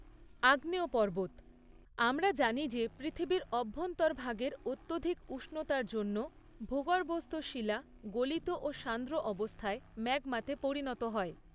আগ্নেয় পর্বত আমরা জানি যে পৃথিবীর অভ্যন্তরভাগের অত্যধিক উষ্ণতার জন্য ভূগর্ভস্থ শিলা গলিত ও সান্দ্র অবস্থায় ম্যাগমাতে পরিণত হয়।